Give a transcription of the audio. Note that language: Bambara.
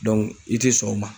Dɔnku i tɛ sɔn o ma